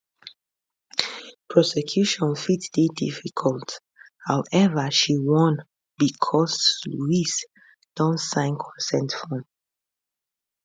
prosecution fit dey difficult however she warn becos louise don sign consent form